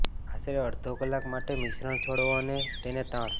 આશરે અડધો કલાક માટે મિશ્રણ છોડો અને તેને તાણ